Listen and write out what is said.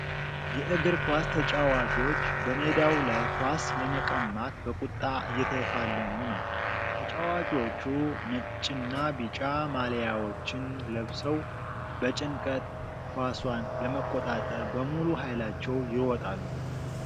የእግር ኳስ ተጫዋቾች በሜዳው ላይ ኳስ ለመቀማት በቁጣ እየተፋለሙ ነው። ተጫዋቾቹ ነጭና ቢጫ ማልያዎችን ለብሰው በጭንቀት ኳሷን ለመቆጣጠር በሙሉ ኃይላቸው ይሮጣሉ።